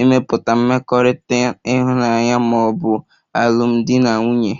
ịmepụta mmekọrịta ịhụnanya ma ọ bụ alụmdi na nwunye.